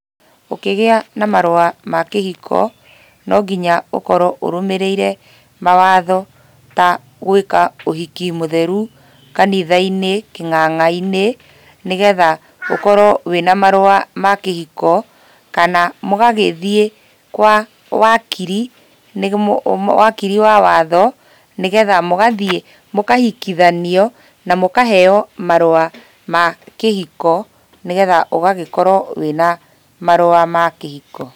Ũkĩgĩa na marũa ma kĩhiko, no nginya ũkorwo ũrũmĩrĩire mawatho ta gũĩka ũhiki mũtheru, kanitha-inĩ kĩnganga-inĩ, nĩgetha ũkorwo wĩna marũa ma kĩhiko, kana mũgagĩthiĩ kwa wakiri wakiri wa watho nĩgetha mũgathiĩ mũkahikithanio na mũkaheo marũa ma kĩhiko, nĩgetha ũgagĩkorwo wĩna marũa ma kĩhiko.